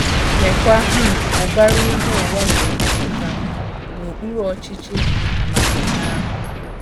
Leekwa um ụbara ihe ụwa ga - emepụta n’okpuru ọchịchị amamihe ahụ!